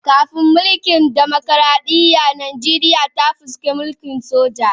Kafin mulkin dimokuradiyya, Nijeriya ta fuskanci mulkin soja.